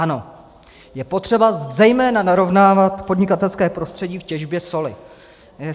Ano, je potřeba zejména narovnávat podnikatelské prostředí v těžbě soli.